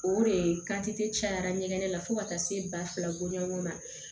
O de cayara ɲɛgɛn la fo ka taa se ba fila goɲɔgɔn ma